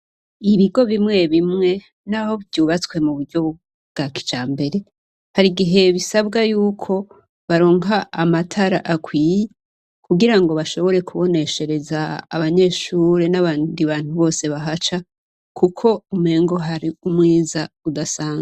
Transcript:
ibigo bimwe bimwe, naho vyubatswe muburyo bwa kijambere, harigihe bisabwa yuko baronka amatara akwiye kugirango bashobore kubonekeshereza abanyeshure n'abandi bantu bose bahaca kuko umengo hari umwiza udasanzwe.